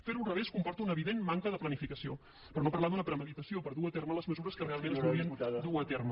fer ho al revés comporta una evident manca de planificació per no parlar d’una premeditació per dur a terme les mesures que realment es volien dur a terme